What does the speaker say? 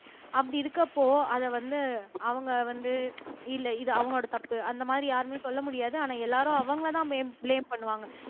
அப்படி இருக்கப்போ அதை வந்து அவங்க வந்து இல்லை இது அவங்களோட தப்பு அந்த மாதிரி யாருமே சொல்ல முடியாது ஆனா எல்லாரும் அவங்களைதான் ப்லேம் பண்ணுவாங்க